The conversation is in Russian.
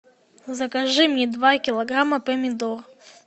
закажи мне два килограмма помидор